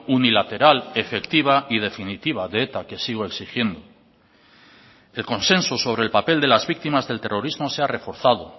unilateral efectiva y definitiva de eta que sigo exigiendo el consenso sobre el papel de las víctimas del terrorismo se ha reforzado